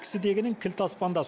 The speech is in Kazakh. кісідегінің кілті аспанда